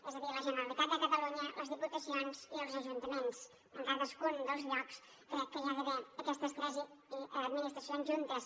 és a dir la generalitat de catalunya les diputacions i els ajuntaments en cadascun dels llocs crec que hi ha d’haver aquestes tres administracions juntes